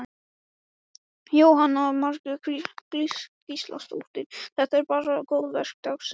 Jóhanna Margrét Gísladóttir: Þetta er bara góðverk dagsins?